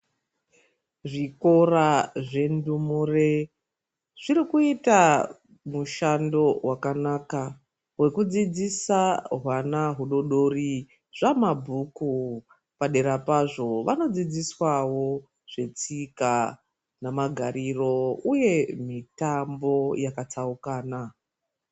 Zvikora zvendumure zvirikuita mushando vakanaka vekudzidzisa hwana hudodori zvamabhuku. Padera pazvo vanodzidziswavo zvetsika nemagariro, uye mitambo yakatsaukana.